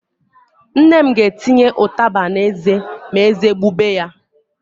Nne m ga-etinye ụtaba n'eze ma ézé gbube ya.